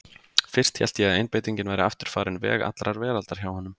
Fyrst hélt ég að einbeitingin væri aftur farin veg allrar veraldar hjá honum.